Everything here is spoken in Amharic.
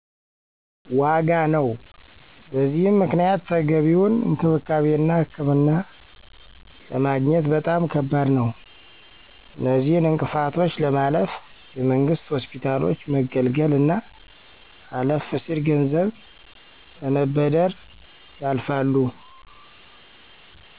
ዋጋ ነው። በዚህም ምክንያት ተገቢውን እንክብካቤና ህክምና ለማግኘት በጣም ከባድ ነዉ። አነዚህን እንቅፋቶች ለማለፍ የመንግስት ሆስፒታሎች መገልገል አና አለፍ ሲል ገንዘብ በመበደር ያልፋሉ።